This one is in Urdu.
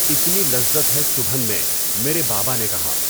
اتنی لذت ہے چبھن میں مرے بابا نے کہا